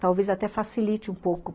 Talvez até facilite um pouco.